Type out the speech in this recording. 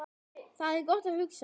Þar er gott að hugsa